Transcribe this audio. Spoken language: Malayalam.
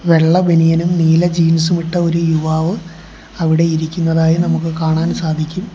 വെള്ള ബനിയനും നീല ജീൻസും ഇട്ട ഒരു യുവാവ് അവിടെ ഇരിക്കുന്നതായി നമുക്ക് കാണാൻ സാധിക്കും.